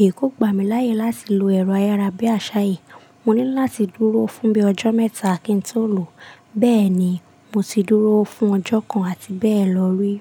èyí kó gba mi láyè láti lo ẹ̀rọ ayárábiàṣá yìí. Mo ní láti dúró fún bí i ọjọ́ mẹ́ta kí n tó lò ó. Bẹ́ẹ̀ ni, mo ti dúró fún ọjọ́ kan àti bẹ́ẹ̀ lọ rí.